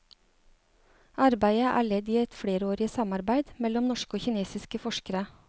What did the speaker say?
Arbeidet er ledd i et flerårig samarbeid mellom norske og kinesiske forskere.